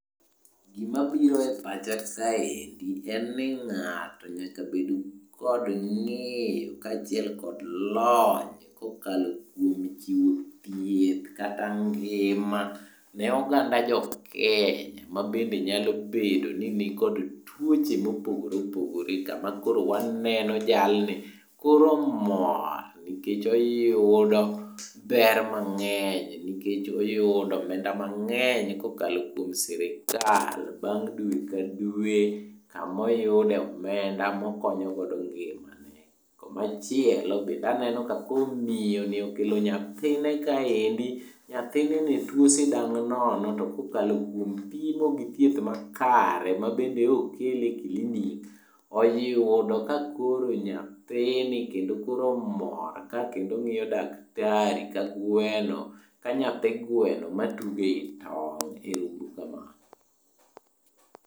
Gimabiro e pacha kaendi, en ni ng'ato nyaka bed kod ng'eyo kachiel kod lony kokalo kuom chiwo thieth kata ngima ne oganda jokenya mabende nyalo bedo ni nikod tuoche mopogore opogore kama koro waneno jalni koro mor nikech oyudo ber mang'eny nikech oyudo omenda mang'eny kokalo kuom sirikal bang dwe ka dwe kamoyude omenda mokonyo godo ngimane. Komachielo bende aneno ka koro miyo ni okelo nyathine kaendi, nyathine ne tuo sidang' nono to kokalo kuom pimo gi thieth makare mabende okele kilinik oyudo ka koro nyathini kendo koro mor ka kendo ng'iyo daktari ka gweno, ka nyathi gweno matugo ei tong', ero uru kamano